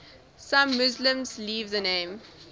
some muslims leave the name